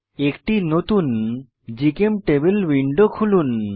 একটি নতুন জিচেমটেবল উইন্ডো খুলুন